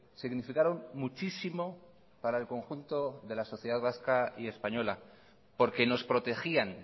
significaron muchísimo para el conjunto de la sociedad vasca y española porque nos protegían